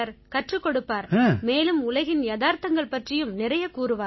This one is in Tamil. கற்றுக் கொடுப்பார் மேலும் உலகின் யதார்த்தங்கள் பற்றியும் நிறைய கூறுவார்